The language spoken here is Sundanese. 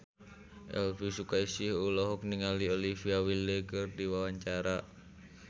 Elvi Sukaesih olohok ningali Olivia Wilde keur diwawancara